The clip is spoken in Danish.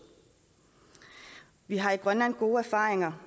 vi har i grønland gode erfaringer